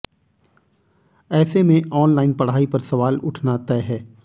ऐसे में ऑनलाइन पढ़ाई पर सवाल उठना तय है